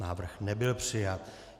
Návrh nebyl přijat.